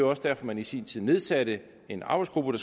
også derfor man i sin tid nedsatte en arbejdsgruppe